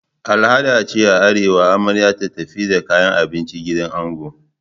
Al'ada ce a arewa amarya ta tafi da kayan abinci gidan ango.